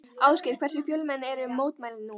Ásgeir, hversu fjölmenn eru mótmælin nú?